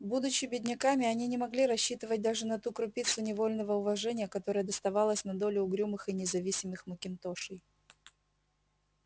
будучи бедняками они не могли рассчитывать даже на ту крупицу невольного уважения которая доставалась на долю угрюмых и независимых макинтошей